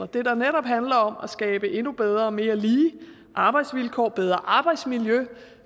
der netop handler om at skabe endnu bedre og mere lige arbejdsvilkår bedre arbejdsmiljø og